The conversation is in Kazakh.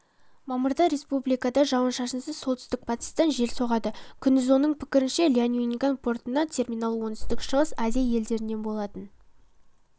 мамырда республикада жауын-шашынсыз солтүстік-батыстан жел соғады күндіз оның пікірінше ляньюнган портындағы терминал оңтүстік-шығыс азия елдерінен болатын